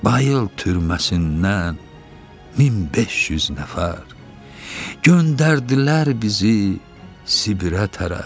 Bayıl türməsindən 1500 nəfər göndərdilər bizi Sibirə tərəf.